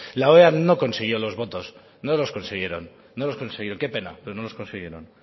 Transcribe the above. la oea no consiguió los votos no los consiguieron no los consiguieron qué pena pero no los consiguieron